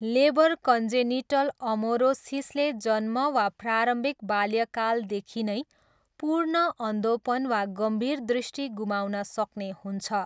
Labour congenital अमोरोसिसले जन्म वा प्रारम्भिक बाल्यकालदेखि नै पूर्ण अन्धोपन वा गम्भीर दृष्टि गुमाउन सक्ने हुन्छ।